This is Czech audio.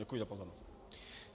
Děkuji za pozornost.